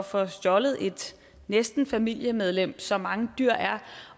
få stjålet et næsten familiemedlem som mange dyr er